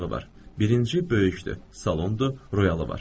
Birinci böyükdür, salondur, royalı var.